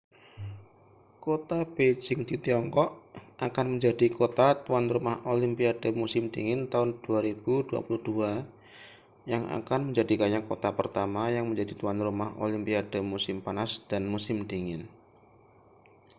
kota beijing di tiongkok akan menjadi kota tuan rumah olimpiade musim dingin tahun 2022 yang akan menjadikannya kota pertama yang menjadi tuan rumah olimpiade musim panas dan musim dingin